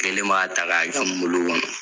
Kelen b'a ta ka cun n bolo kɔnɔ.